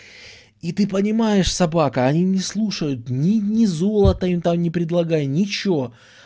и ты понимаешь собака они не слушают ни ни золото им там не предлагай ничего